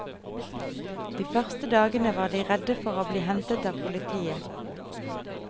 De første dagene var de redde for å bli hentet av politiet.